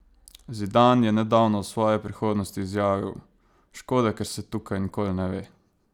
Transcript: Zidane je nedavno o svoji prihodnosti izjavil: "Škoda, ker se tukaj nikoli ne ve.